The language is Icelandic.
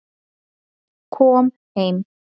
Kom heim